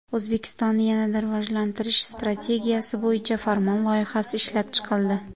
O‘zbekistonni yanada rivojlantirish strategiyasi bo‘yicha farmon loyihasi ishlab chiqildi.